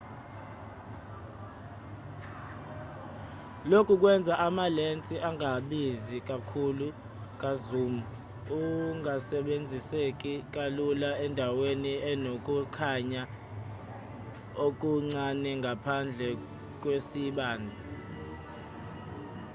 lokhu kwenza amalensi angabizi kakhulu ka-zoom angasebenziseki kalula endaweni enokukhanya okuncane ngaphandle kwesibani